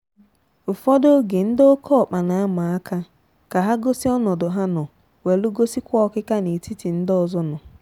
Ụfọdụ oge ndị ọké ọkpa na ama aka, ka ha gosi ọnọdụ ha nọ, nwee gosi kwa ọkịka na etiti ndị ọzọ nọ.